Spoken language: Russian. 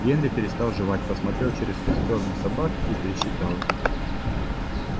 генри перестал жевать посмотрел через костёр на собак и пересчитал их